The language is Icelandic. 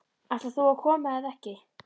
Ætlar þú að koma eða ekki?